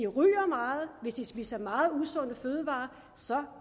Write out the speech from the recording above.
ryger meget og hvis den spiser meget usunde fødevarer så